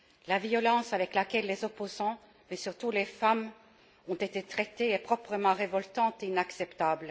La violence avec laquelle les opposants, et surtout les femmes, ont été traités est proprement révoltante et inacceptable.